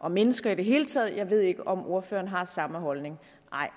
og mennesker i det hele taget jeg ved ikke om ordføreren har den samme holdning nej